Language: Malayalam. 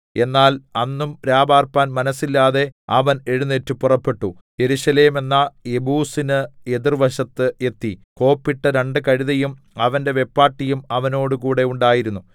എന്നാൽ അന്നും രാപാർപ്പാൻ മനസ്സില്ലാതെ അവൻ എഴുന്നേറ്റ് പുറപ്പെട്ടു യെരൂശലേമെന്ന യെബൂസിന് എതിർ വശത്ത് എത്തി കോപ്പിട്ട രണ്ടു കഴുതയും അവന്റെ വെപ്പാട്ടിയും അവനോടുകൂടെ ഉണ്ടായിരുന്നു